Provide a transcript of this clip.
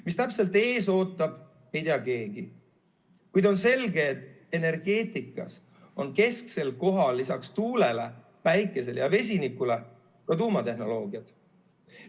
Mis täpselt ees ootab, ei tea keegi, kuid on selge, et energeetikas on kesksel kohal lisaks tuulele, päikesele ja vesinikule ka tuumatehnoloogiad.